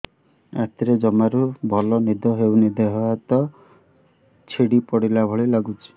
ରାତିରେ ଜମାରୁ ଭଲ ନିଦ ହଉନି ଦେହ ହାତ ଛିଡି ପଡିଲା ଭଳିଆ ଲାଗୁଚି